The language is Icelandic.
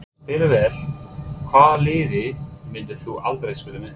Spila vel Hvaða liði myndir þú aldrei spila með?